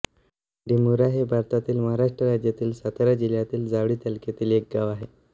रेंडिमुरा हे भारतातील महाराष्ट्र राज्यातील सातारा जिल्ह्यातील जावळी तालुक्यातील एक गाव आहे